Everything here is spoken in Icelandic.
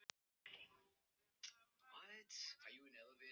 Maron, hvenær kemur vagn númer fjörutíu og þrjú?